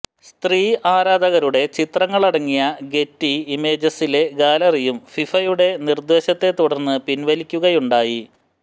സ്ത്രീ ആരാധകരുടെ ചിത്രങ്ങളടങ്ങിയ ഗെറ്റി ഇമേജസിലെ ഗാലറിയും ഫിഫയുടെ നിര്ദേശത്തെതുടര്ന്ന് പിന്വലിക്കുകയുണ്ടായി